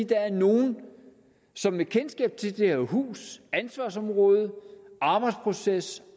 der er nogle som med kendskab til det her hus ansvarsområdet arbejdsprocessen